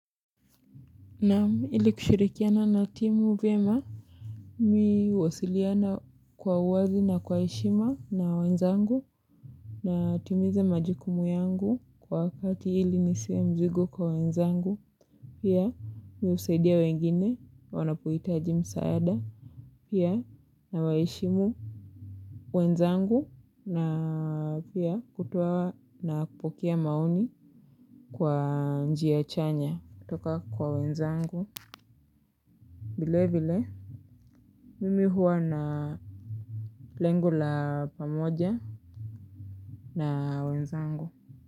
Naam, ili kushirikiana na timu vyema. Mi huwasiliana kwa uwazi na kwa heshima na wenzangu. Natimiza majukumu yangu kwa wakati ili nisiwe mzigo kwa wenzangu. Pia mi husaidia wengine wanapohitaji msaada. Pia nawaheshimu wenzangu na pia kutoa na kupokea maoni kwa njia chanya. Kutoka kwa wenzangu. Vile vile, mimi huwa na lengo la pamoja na wenzangu.